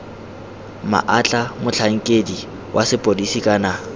maatla motlhankedi wa sepodisi kana